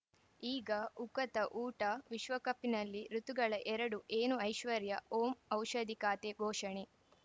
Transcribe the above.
ಈಗ ಉಕತ ಊಟ ವಿಶ್ವಕಪ್‌ನಲ್ಲಿ ಋತುಗಳು ಎರಡ ಏನು ಐಶ್ವರ್ಯಾ ಓಂ ಔಷಧಿ ಖಾತೆ ಘೋಷಣೆ